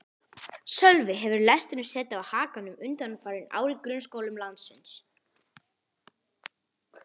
Sölvi: Hefur lesturinn setið á hakanum undanfarin ár í grunnskólum landsins?